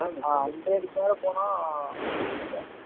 ஆஹ் hundred க்கு மேல போன